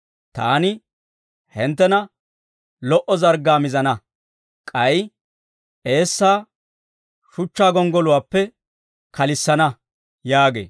Taani hinttena lo"o zarggaa mizana; k'ay eessaa, shuchchaa gonggoluwaappe kalissana» yaagee.